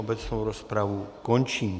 Obecnou rozpravu končím.